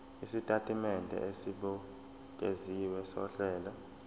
isitatimende esibukeziwe sohlelo